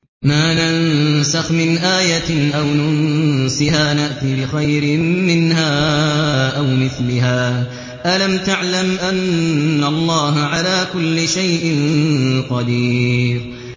۞ مَا نَنسَخْ مِنْ آيَةٍ أَوْ نُنسِهَا نَأْتِ بِخَيْرٍ مِّنْهَا أَوْ مِثْلِهَا ۗ أَلَمْ تَعْلَمْ أَنَّ اللَّهَ عَلَىٰ كُلِّ شَيْءٍ قَدِيرٌ